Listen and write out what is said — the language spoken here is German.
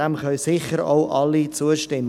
Dem können sicher alle zustimmen.